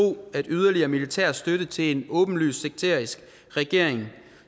at yderligere militær støtte til en åbenlys sekterisk regering